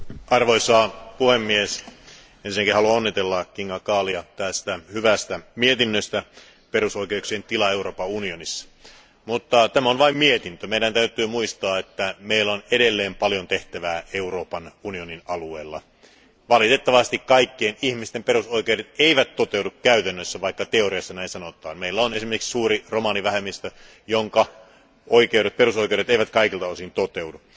Arvoisa puhemies, ensinnäkin haluan onnitella Kinga Gália tästä hyvästä mietinnöstä, joka koskee perusoikeuksien tilaa Euroopan unionissa, mutta tämä on vain mietintö. Meidän täytyy muistaa, että meillä on edelleen paljon tehtävää Euroopan unionin alueella. Valitettavasti kaikkien ihmisten perusoikeudet eivät toteudu käytännössä, vaikka teoriassa näin sanotaan. Meillä on esimerkiksi suuri romanivähemmistö, jonka perusoikeudet eivät kaikilta osin toteudu.